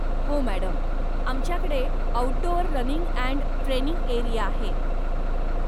हो मॅडम. आमच्याकडे outdoor running and training area आहे.